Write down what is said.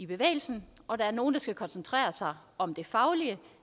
bevægelse og at der er nogle der skal koncentrere sig om det faglige